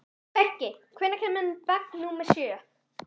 Beggi, hvenær kemur vagn númer sjö?